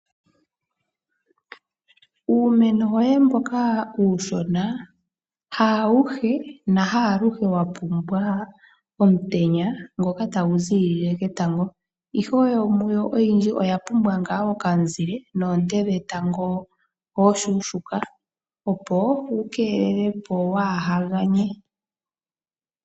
Uumeno woye mboka uushona haawuhe nahaaluhe wa pumbwa omutenya ngoka tagu ziilile ketango, ihe yimwe yomuyo oyindji oya pumbwa okamuzile noonte dhetango oonshona opo wu keelelwe kawu ganye.